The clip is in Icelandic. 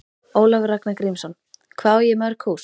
Ólafur Ragnar Grímsson: Hvað á ég mörg hús?